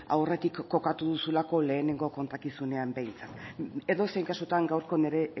aurretik kokatu duzulako lehenengo kontakizunean behintzat edozein kasutan gaurko nire